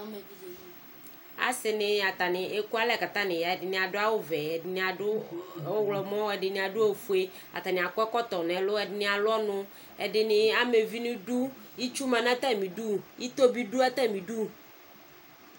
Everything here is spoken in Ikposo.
Asini atani ekualɛ katani yaƐdini adʋ awu vɛ, ɛdini adʋ ɔɣlɔmɔƐdini adʋ ofueAtani akɔ ɛkɔtɔ nɛlʋ Ɛdini alʋ ɔnuƐdini ama uvi niduitsu ma natamiduIto bi dʋ atamidu